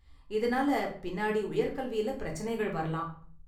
இதனால் பின்னாடி உயர்கல்வியில பிரச்சனைகள் வரலாம்.